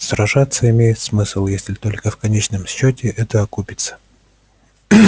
сражаться имеет смысл если только в конечном счёте это окупиться